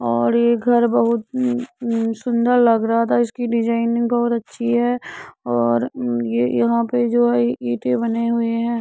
और ये घर बहोत न सुंदर लग रहा है। इसकी डिज़ाइन बहोत अच्छी है और यहां पे जो है ईंटें बने हुए है।